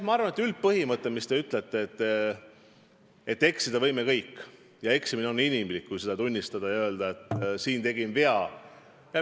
Ma arvan, et on tõesti üldine põhimõte, et eksida võime me kõik ja eksimine on inimlik, kui sa seda tunnistad ja ütled, et siin ma tegin vea.